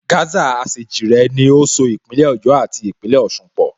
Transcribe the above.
Gásà Àṣèjìrẹ́ ni ó so Ìpínlẹ̀ Ọ̀yọ́ àti Ìpínlẹ̀ Ọ̀sun pọ̀